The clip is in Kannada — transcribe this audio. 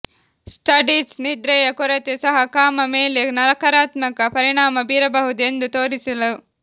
ಸ್ಟಡೀಸ್ ನಿದ್ರೆಯ ಕೊರತೆ ಸಹ ಕಾಮ ಮೇಲೆ ನಕಾರಾತ್ಮಕ ಪರಿಣಾಮ ಬೀರಬಹುದು ಎಂದು ತೋರಿಸಲು